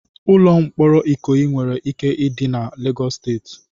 Ụlọ mkpọrọ ikoyi nwere ike dị na Lagos State